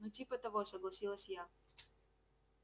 ну типа того согласилась я